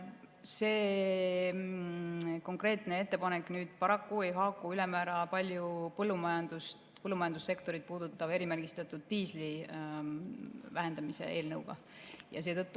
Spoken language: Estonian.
See konkreetne ettepanek paraku ei haaku ülemäära palju põllumajandussektorit puudutava erimärgistatud diisli vähendamise eelnõuga.